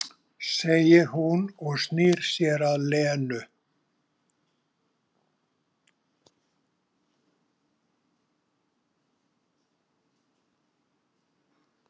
segir hún og snýr sér að Lenu.